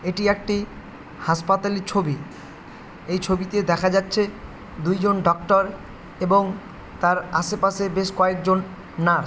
এটি একটি হাসপাতালির ছবি এই ছবিতে দেখা যাচ্ছে দুইজন ডক্টর এবং তার আশেপাশে বেশ কয়েকজন নার্স --